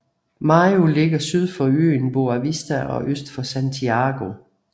Maio ligger syd for øen Boa Vista og øst for Santiago